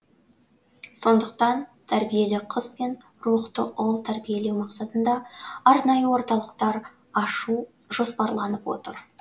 сондықтан тәрбиелі қыз бен рухты ұл тәрбиелеу мақсатында арнайы орталықтар ашу жоспарланып отыр